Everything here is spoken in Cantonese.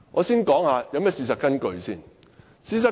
事實根據是甚麼？